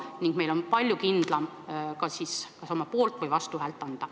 Siis oleks meil palju kindlam kas oma poolt- või vastuhääl anda.